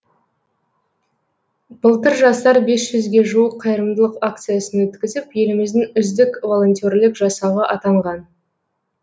былтыр жастар бес жүзге жуық қайырымдылық акциясын өткізіп еліміздің үздік волонтерлік жасағы атанған